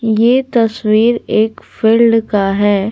ये तस्वीर एक फील्ड का है।